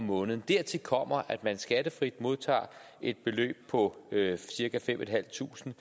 måneden dertil kommer at man skattefrit modtager et beløb på cirka fem tusind